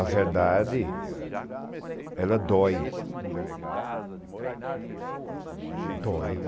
A verdade ela dói dói.